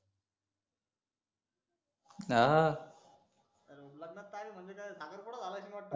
हाहं लग्नाची तारीख म्हणजे काय साखरपुडा झाला अनीश वाटतं